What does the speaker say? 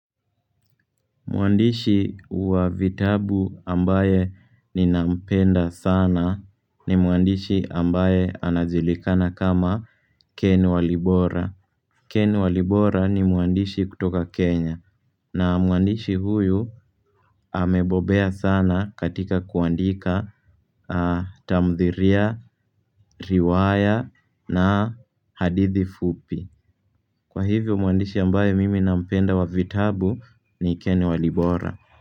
Mwandishi wa vitabu ambaye ninampenda sana ni mwandishi ambaye anajulikana kama ken walibora Ken walibora ni mwandishi kutoka Kenya na mwandishi huyu amebobea sana katika kuandika tamthilia, riwaya na hadithi fupi Kwa hivyo mwandishi ambaye mimi nampenda wa vitabu ni ken walibora.